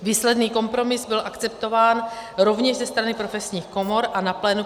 Výsledný kompromis byl akceptován rovněž ze strany profesních komor a na plénu